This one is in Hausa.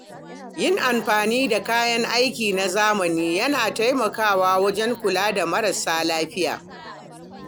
Yin amfani da kayan aiki na zamani yana taimakawa wajen kula da marasa lafiya.